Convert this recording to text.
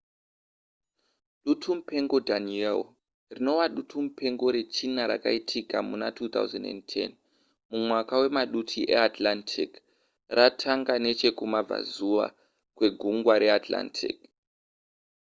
dutumupengo danielle rinova dutumupengo rechina raitika muna 2010 mumwaka wemaduti eatlantic ratanga nechekumabvazuva kwegungwa reatlantic